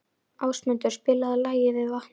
Ásmundur, spilaðu lagið „Við vatnið“.